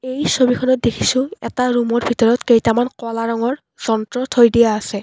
এই ছবিখনত দেখিছোঁ এটা ৰুম ৰ ভিতৰত কেইটামান ক'লা ৰঙৰ যন্ত্ৰ থৈ দিয়া আছে।